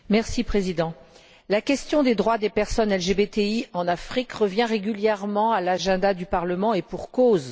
Monsieur le Président, la question des droits des personnes LGBT en Afrique revient régulièrement à l'agenda du Parlement, et pour cause.